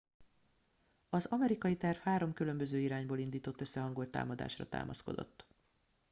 az amerikai terv három különböző irányból indított összehangolt támadásra támaszkodott